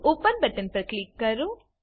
open button પર click કરો